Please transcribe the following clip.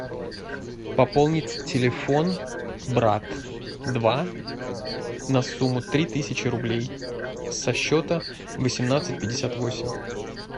пополнить телефон брат два на сумму три тысячи рублей со счета восемнадцать пятьдесят восемь